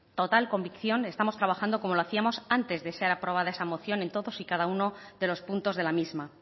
total convicción estamos trabajando como lo hacíamos antes de ser aprobada esa moción en todos y cada uno de los puntos de la misma